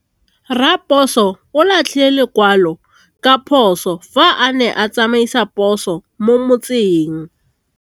Raposo o latlhie lekwalô ka phosô fa a ne a tsamaisa poso mo motseng.